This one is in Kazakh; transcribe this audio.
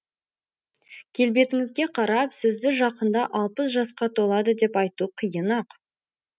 келбетіңізге қарап сізді жақында алпыс жасқа толады деп айту қиын ақ